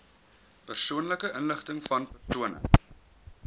persoonlike inligtingvan persone